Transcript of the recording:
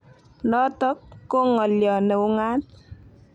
Notok ko ng'alyo ne ung'aat